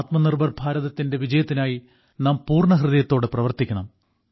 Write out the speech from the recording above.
ആത്മ നിർഭർ ഭാരതത്തിന്റെ വിജയത്തിനായി നാം പൂർണ്ണഹൃദയത്തോടെ പ്രവർത്തിക്കണം